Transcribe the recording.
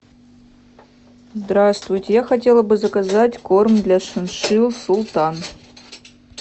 здравствуйте я хотела бы заказать корм для шиншилл султан